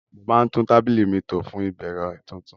Mo máa tún tábìlì mi tò fún ìbẹ̀rẹ̀ tuntun